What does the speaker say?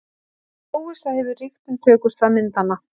Óvissa hefur ríkt um tökustað myndanna